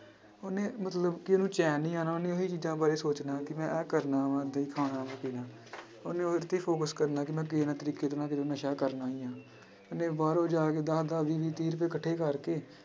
ਉਹਨੇ ਮਤਲਬ ਕਿ ਉਹਨੂੰ ਚੈਨ ਨੀ ਆਉਣਾ ਉਹਨੇ ਉਹੀ ਚੀਜ਼ਾਂ ਬਾਰੇ ਸੋਚਣਾ ਕਿ ਮੈਂ ਇਹ ਕਰਨਾ ਵਾਂ ਵੀ ਖਾਣਾ ਉਹਨੇ ਉਹਦੇ ਤੇ ਹੀ focus ਕਰਨਾ ਕਿ ਮੈਂ ਤਰੀਕੇ ਦੇ ਨਾਲ ਨਸ਼ਾ ਕਰਨਾ ਹੀ ਆਂ ਉਹਨੇ ਬਾਹਰੋਂ ਜਾ ਕੇ ਦਸ ਦਸ, ਵੀਹ ਵੀਹ, ਤੀਹ ਰੁਪਏ ਇਕੱਠੇ ਕਰਕੇ